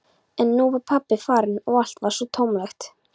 En nú var pabbi farinn og allt varð svo tómlegt.